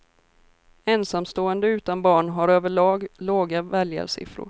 Ensamstående utan barn har över lag låga väljarsiffror.